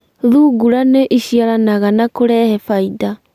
thungura nĩ iciaranaga na kũrehe baida.